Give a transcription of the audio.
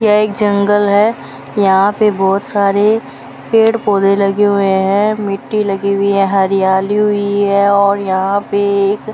यह एक जंगल है यहां पे बहोत सारे पेड़ पौधे लगे हुए है मिट्टी लगी हुई है हरियाली हुई है और यहां पे एक --